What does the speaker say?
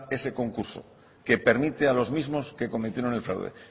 ese concurso que permite a los mismos que cometieron el fraude